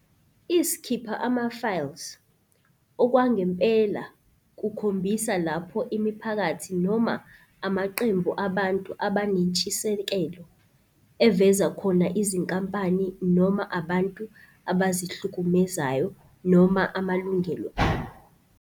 I-S'khipha amaFiles - Okwangempela kukhombisa lapho imiphakathi noma amaqembu abantu abanentshisekelo eveza khona izinkampani noma abantu abazihlukumezayo noma amalungelo abo.